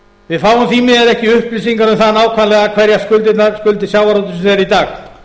við fáum því miður ekki upplýsingar um það nákvæmlega hverjar skuldir sjávarútvegsins eru í dag